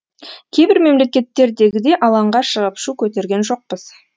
кейбір мемлекеттердегідей алаңға шығып шу көтерген жоқпыз